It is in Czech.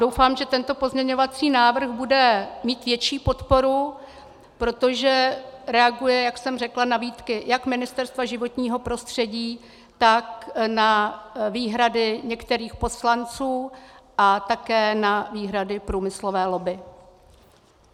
Doufám, že tento pozměňovací návrh bude mít větší podporu, protože reaguje, jak jsem řekla, na výtky jak Ministerstva životního prostředí, tak na výhrady některých poslanců a také na výhrady průmyslové lobby.